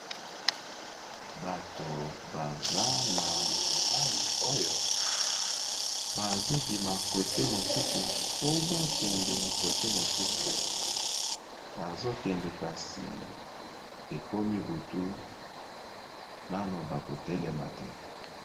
Bato baza na mayi oyo bazo bima kote mosusu po bakende kote mosusu bazokende kasi ekomi butu nano bakotelema te.